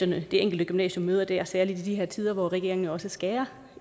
det enkelte gymnasium møder der særlig i de her tider hvor regeringen også skærer